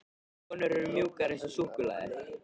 Konur eru mjúkar eins og súkkulaði.